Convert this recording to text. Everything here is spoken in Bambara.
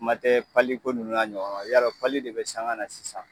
Kuma tɛ pali ko ninnu n'a ɲɔgɔnw ma y'a dɔn pali de be sanga na sisan